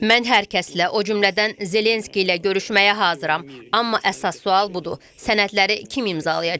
Mən hər kəslə, o cümlədən Zelenski ilə görüşməyə hazıram, amma əsas sual budur: Sənədləri kim imzalayacaq?